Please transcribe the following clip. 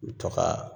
U bi to kaa